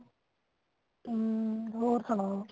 ਹਮ ਹੋਰ ਸੁਣਾਓ